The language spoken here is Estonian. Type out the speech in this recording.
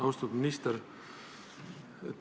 Austatud minister!